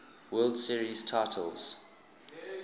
world series titles